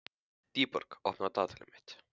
Dýrborg, opnaðu dagatalið mitt.